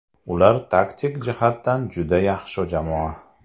Ular taktik jihatdan juda yaxshi jamoa.